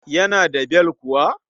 Yana da bel kuwa?